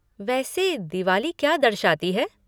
वैसे दिवाली क्या दर्शाती है?